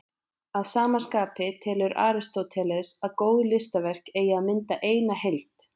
Að sama skapi telur Aristóteles að góð listaverk eigi að mynda eina heild.